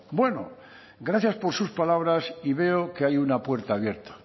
bueno gracias por sus palabras y veo que hay una puerta abierta